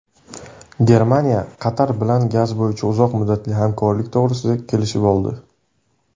Germaniya Qatar bilan gaz bo‘yicha uzoq muddatli hamkorlik to‘g‘risida kelishib oldi.